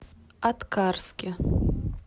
аткарске